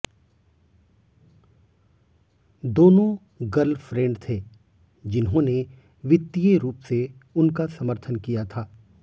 दोनों गर्लफ्रेंड थे जिन्होंने वित्तीय रूप से उनका समर्थन किया था